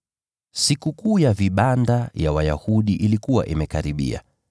Sikukuu ya Vibanda ya Wayahudi ilikuwa imekaribia.